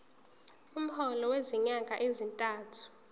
umholo wezinyanga ezintathu